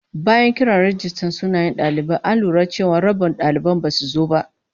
Bayan kiran rajistan sunayen dalibai, an lura cewa rabin daliban basu zo ba